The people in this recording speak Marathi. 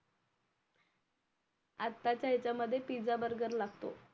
आत्ता च्या ह्याच्या मध्ये पिझा बर्गर लागतो